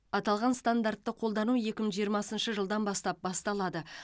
аталған стандартты қолдану екі мың жиырмасыншы жылдан бастап басталады